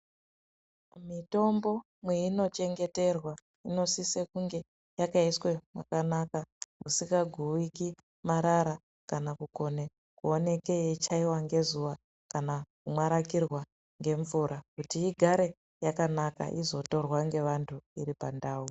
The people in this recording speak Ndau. Mitombo mweino chengeterwa munosise kunge yakaiswe mwakakaka, kusikaguwiki marara ,kana kukone kuoneke yeichaiwa ngezuwa ,kana kumwarakirwa ngemvura ,kuti igare yakanaka ,izotorwa ngevantu iri pandau.